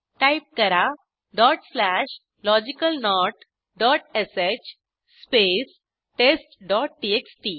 type करा dot slash logical note dot श space testटीएक्सटी